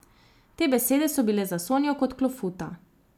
Te besede so bile za Sonjo kot klofuta.